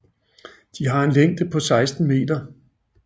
De har en længde på 16 meter